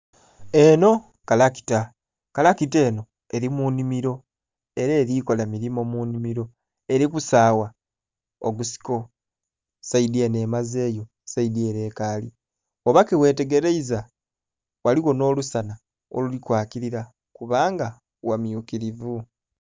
Enho kalakita, kalakita enho eri mu nhimiro era erikola mirimo mu nhimiro eri kusagha ogusiko, saidhi enho emazeyo saidhi ere ekaali. Bwoba ke ghetegereiza ghaligho nho lusanha oluli kwakirira kubanga gha myukirivu.